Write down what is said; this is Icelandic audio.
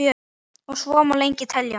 Og svo má lengi telja.